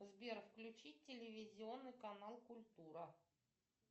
сбер включи телевизионный канал культура